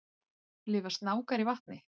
Lifa snákar í vatni?